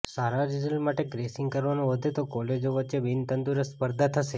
સારા result માટે gracing કરવાનું વધે તો કોલેજો વચ્ચે બિનતંદુરસ્ત સ્પર્ધા થશે